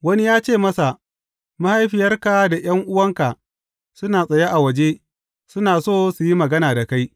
Wani ya ce masa, Mahaifiyarka da ’yan’uwanka suna tsaye a waje, suna so su yi magana da kai.